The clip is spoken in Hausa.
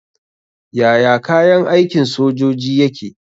Yaya kayan aikin sojoji yake ne?